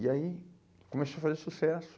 E aí, começou a fazer sucesso.